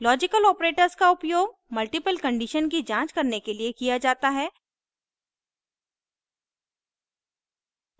logical operators का उपयोग multiple condition की जांच करने के लिए किया जाता है